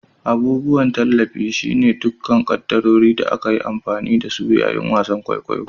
Abubuwan tallafi. shine dukkan kaddarorin da aka yi amfani da su yayin wasan kwaikwayo